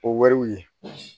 O wariw ye